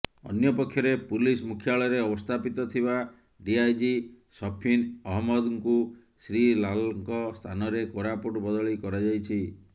ଅନ୍ୟପକ୍ଷରେ ପୁଲିସ ମୁଖ୍ୟାଳୟରେ ଅବସ୍ଥାପିତ ଥିବା ଡିଆଇଜି ସଫିନ ଅହମ୍ମଦଙ୍କୁ ଶ୍ରୀ ଲାଲଙ୍କ ସ୍ଥାନରେ କୋରାପୁଟ ବଦଳି କରାଯାଇଛି